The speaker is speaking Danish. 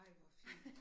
Ej hvor fedt